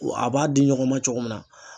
A b'a di ɲɔgɔn ma cogo min na